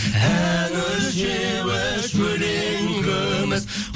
ән өлшеуіш өлең күміс